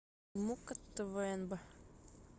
мукка твнб